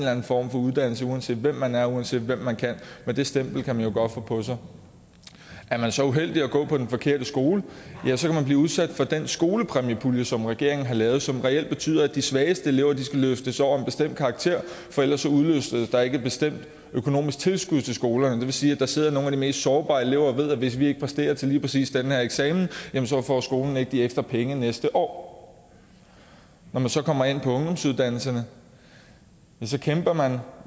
form for uddannelse uanset hvem man er og uanset hvad man kan men det stempel kan man jo godt få på sig er man så uheldig at gå på den forkerte skole kan man blive udsat for den skolepræmiepulje som regeringen har lavet og som reelt betyder at de svageste elever skal løftes over en bestemt karakter for ellers udløses der ikke et bestemt økonomisk tilskud til skolen det vil sige at der sidder nogle af de mest sårbare elever og ved at hvis de ikke præsterer til lige præcis den her eksamen får skolen ikke de ekstra penge næste år når man så kommer ind på ungdomsuddannelserne kæmper man